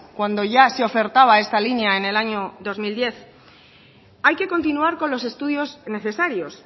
cuando ya se ofertaba esta línea en el año dos mil diez hay que continuar con los estudios necesarios